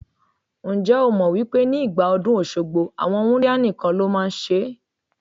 Ǹjẹ́ o mọ̀ wípé ní ìgbà ọdún Òṣogbo, àwọn wúńdíá nìkan ló máa ń ṣe ẹ́?